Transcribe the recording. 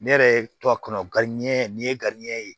Ne yɛrɛ ye to a kɔnɔ nin ye ye